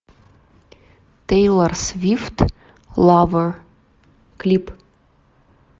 тейлор свифт лавер клип